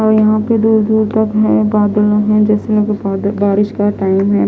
और यहाँ पे दूर दूर तक है बदलो में बारिश का टाइम है।